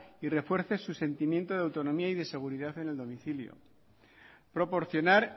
y refuerce su sentimiento de autonomía y seguridad en el domicilio proporcionar